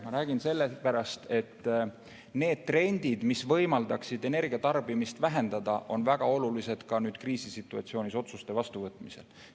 Ma räägin sellest sellepärast, et need trendid, mis võimaldaksid energia tarbimist vähendada, on väga olulised ka nüüd kriisisituatsioonis otsuste vastuvõtmisel.